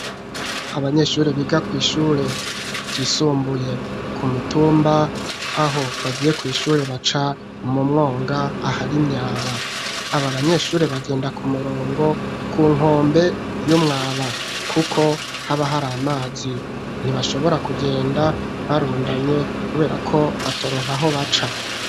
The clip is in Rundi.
Abanyeshuri biga kw'ishure ryisumbuye ku mitumba aho bagiye kw'ishure baca umumwonga ahari imyaba abo abanyeshure bagenda ku murongo ku nkombe y'umwaba, kuko haba hari amazi ntibashobora kugenda barundanye kuber uko batoronka aho baca.